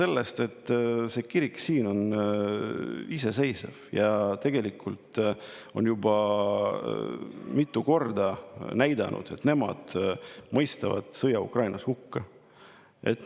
Sellest, et see kirik siin on iseseisev ja tegelikult on juba mitu korda näidanud, et nemad mõistavad sõja Ukrainas hukka.